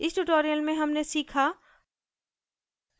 इस tutorial में हमने सीखा: